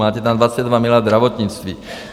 Máte tam 22 miliard zdravotnictví.